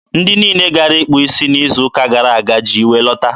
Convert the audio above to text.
ndị niile gara ịkpụ isi n'izu ụka gara aga ji iwe lọta.